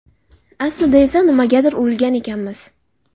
Aslida esa nimagadir urilgan ekanmiz.